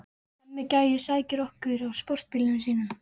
Hemmi gæi sækir okkur á sportbílnum sínum.